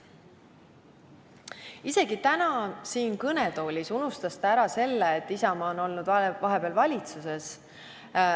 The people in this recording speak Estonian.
Isegi täna siin kõnetoolis unustas ta ära, et Isamaa on olnud vahepeal valitsuses.